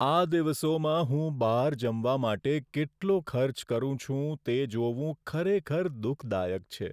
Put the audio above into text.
આ દિવસોમાં હું બહાર જમવા માટે કેટલો ખર્ચ કરું છું તે જોવું ખરેખર દુઃખદાયક છે.